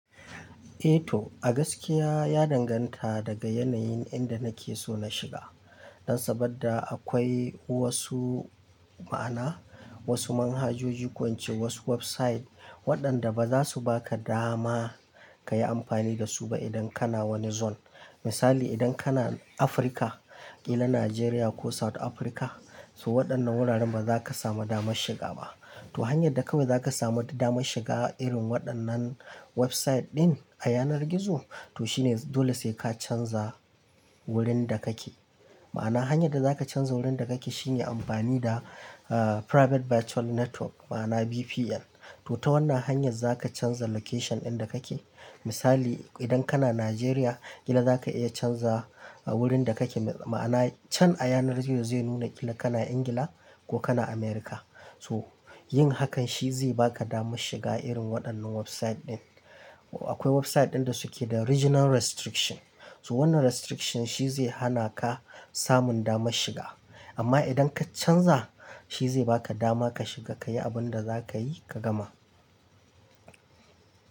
Eh to, a gaskiya ya danganta daga yanayin inda nake so na shiga. Dan saboda akwai wasu ma'ana, wasu manhajoji, ko ince wasu website waɗanda baza su baka dama kayi amfani da su ba idan kana wani zone. Misali idan kana Afirka, ƙilan Nigeria ko South Africa, so waɗannan wuraren baza ka samu damar shiga ba. To hanyar da kawai zaka samu damar shiga irin waɗannan website ɗin a yanar gizo, to shine dole sai ka canza wurin da kake. Ma'ana hanyar da zaka canza wurin da kake shine amfani da, eh, private virtual network, ma'ana VPN. To ta wannan hanyar zaka canza location ɗinda kake. Misali idan kana Nigeria, ƙila zaka iya canza wurin da kake, ma'ana can a yanar gizo zai nuna ƙila kana England ko kana America. So yin hakan shi zai baka damar shiga irin waɗannan website ɗin. Akwai website ɗin da suke da regional restriction. So wannan restriction shi zai hana ka samun damar shiga. Amma idan ka canza shi zai baka dama ka shiga kayi abin da zakayi ka gama.